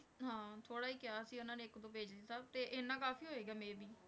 ਹਾਂ ਥੋੜ੍ਹਾ ਹੀ ਕਿਹਾ ਸੀ ਉਹਨਾਂ ਨੇ ਇੱਕ ਦੋ page ਦਿੱਤਾ, ਤੇ ਇੰਨਾ ਕਾਫ਼ੀ ਹੋਏਗਾ may be